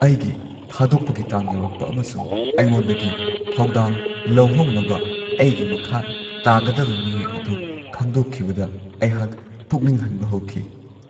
ꯑꯩꯒꯤ ꯊꯥꯗꯣꯛꯄꯒꯤ ꯇꯥꯡ ꯌꯧꯔꯛꯄ ꯑꯃꯁꯨꯡ ꯑꯩꯉꯣꯟꯗꯒꯤ ꯊꯧꯗꯥꯡ ꯂꯧꯍꯧꯅꯕ ꯑꯩꯒꯤ ꯃꯈꯥ ꯇꯥꯒꯗꯕ ꯃꯤꯑꯣꯏ ꯑꯗꯨ ꯈꯪꯗꯣꯛꯈꯤꯕꯗ ꯑꯩꯍꯥꯛ ꯄꯨꯛꯅꯤꯡ ꯍꯟꯕ ꯍꯧꯈꯤ꯫